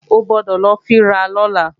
O gbọ́dọ̀ lọ fín ra lọ́la!